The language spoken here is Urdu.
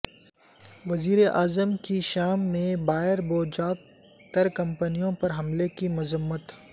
وزیراعظم کی شام میں بائیر بوجاک ترکمینوں پر حملے کی مذمت